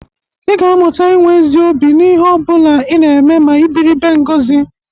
Ị ga-amụta inwe ezi obi n'ihi ọ bụla ị na-eme ma ị biri ebe Ngọzị.